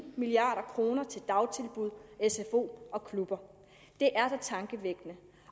milliard kroner til dagtilbud sfo og klub det er da tankevækkende